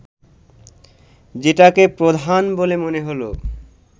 যেটাকে প্রধান বলে মনে হল